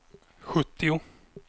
sjuttio